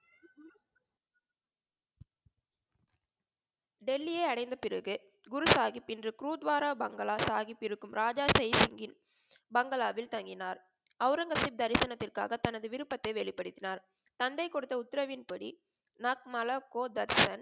டெல்லியை அடைந்த பிறகு குரு சாஹிப் இன்று குருதுவரா பங்கல்லா சாஹிப் இருக்கும் ராஜா சாஹிப் இருக்கும் பங்களாவில் தங்கினார். அவுரங்கசீப் தரிசனத்திற்காக தனது விருப்பதை வெளிப்படுத்தினார். தந்தை குடுத்த உத்தரவின் படி நாத் மாலா கோ தர்ஷன்